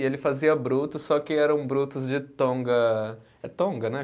E ele fazia Brutus, só que era um Brutus de Tonga. É Tonga, né?